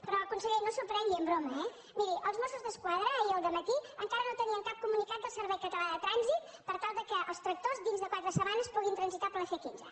però conseller no s’ho prengui en broma eh miri els mossos d’esquadra ahir al dematí encara no tenien cap comunicat del servei català de trànsit per tal que els tractors dins de quatre setmanes puguin transitar per la c quinze